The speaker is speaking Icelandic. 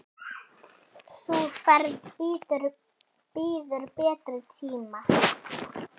Sú ferð bíður betri tíma.